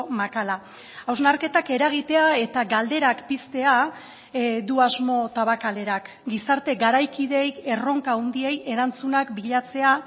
makala hausnarketak eragitea eta galderak piztea du asmo tabakalerak gizarte garaikideei erronka handiei erantzunak bilatzea